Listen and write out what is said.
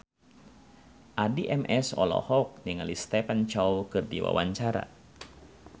Addie MS olohok ningali Stephen Chow keur diwawancara